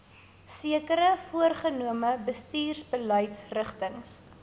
sekere voorgenome bestuursbeleidsrigtings